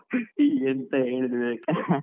ಎಂತ ಹೇಳುದು ವಿವೇಕ್ರೆ.